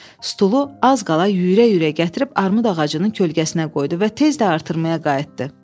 Stulu az qala yüyürə-yüyürə gətirib armud ağacının kölgəsinə qoydu və tez də artırmaya qayıtdı.